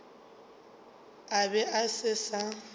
a be a se sa